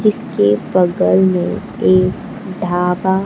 जिसके बगल में एक ढाबा--